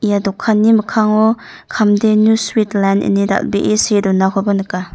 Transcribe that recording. ia dokani mikkango kamdenu suit len ine dal·bee see donakoba nika.